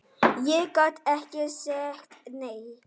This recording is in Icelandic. Ég gat ekki sagt nei.